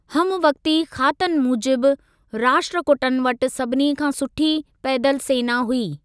हमवकती खातनि मूजिबि, राष्ट्रकूटनि वटि सभिनी खां सुठी पैदल सेना हुई।